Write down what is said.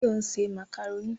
Báyọ̀ ń ṣe màkàrónì